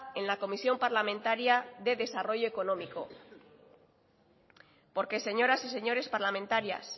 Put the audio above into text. en la comisión parlamentaria de desarrollo económico porque señoras y señores parlamentarias